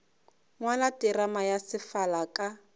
ngwala terama ya sefala ka